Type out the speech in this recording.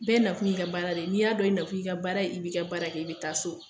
Bɛɛ nakun y'i ka baara de ye , n'i y'a dɔn i nakun y'i ka baara ye, i b'i ka baara kɛ i bɛ taa so.